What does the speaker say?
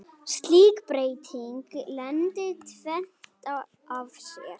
Slík breyting leiddi tvennt af sér.